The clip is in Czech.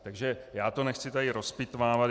Takže já to nechci tady rozpitvávat.